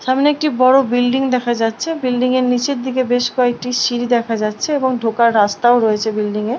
সামনে একটি বড় বিল্ডিং দেখা যাচ্ছে বিল্ডিং - এর নিচের দিকে বেশ কয়েকটি সিঁড়ি দেখা যাচ্ছে এবং ঢোকার রাস্তাও রয়েছে বিল্ডিং - এ।